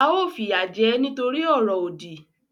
A ó fìyà jẹ e nítorí ọ̀rọ̀ òdì